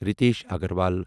Ritesh Agarwal